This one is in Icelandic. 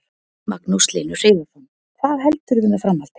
Magnús Hlynur Hreiðarsson: Hvað heldurðu með framhaldið?